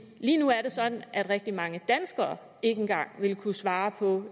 lige nu er det sådan at rigtig mange danskere ikke engang vil kunne svare på